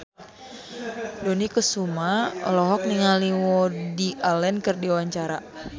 Dony Kesuma olohok ningali Woody Allen keur diwawancara